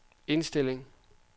indstilling